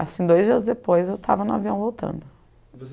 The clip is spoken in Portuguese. Assim, dois dias depois eu tava no avião voltando.